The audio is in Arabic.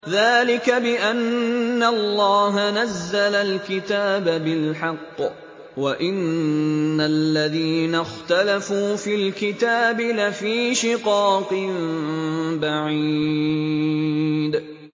ذَٰلِكَ بِأَنَّ اللَّهَ نَزَّلَ الْكِتَابَ بِالْحَقِّ ۗ وَإِنَّ الَّذِينَ اخْتَلَفُوا فِي الْكِتَابِ لَفِي شِقَاقٍ بَعِيدٍ